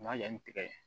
N b'a kɛ ni tigɛ ye